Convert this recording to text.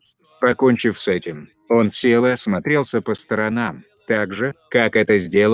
покончив с этим он сел и осмотрелся по сторонам так же как это сделал бы первый человек попавший с земли на марс